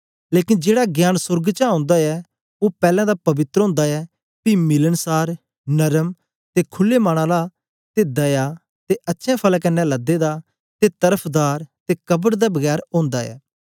लेकन जेड़ा ज्ञान सोर्ग चा ओंदा ऐ ओ पैलैं तां पवित्र ओंदा ऐ पी मिलनसार नरम ते खुले मन आला ते दया ते अच्छे फलें कन्ने लदे दा ते तरफदार ते कपट दे बगैर ओंदा ऐ